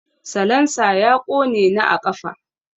Salansa ya ƙone ni a ƙafa.